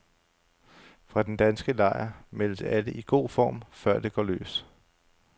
Fra den danske lejr meldes alle i god form, før det går løs.